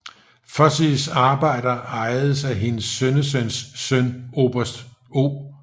Fosies arbejder ejedes af hendes sønnesøns søn oberst O